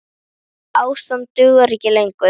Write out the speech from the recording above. Þetta ástand dugar ekki lengur.